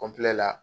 kɔnpilɛ